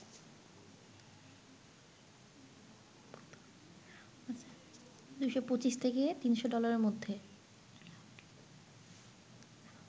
২২৫ থেকে ৩০০ ডলারের মধ্যে